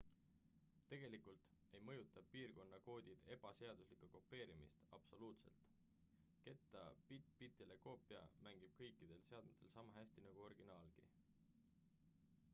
tegelikult ei mõjuta piirkonnakoodid ebaseaduslikku kopeerimist absoluutselt ketta bitt-bitile koopia mängib kõikidel seadmetel sama hästi nagu originaalgi